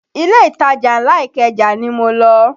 Ilé ìtajà ńlá Ikeja ni mo lọ